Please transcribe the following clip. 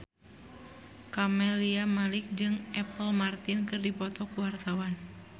Camelia Malik jeung Apple Martin keur dipoto ku wartawan